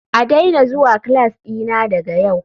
A daina zuwa class dina daga yau.